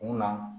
Mun na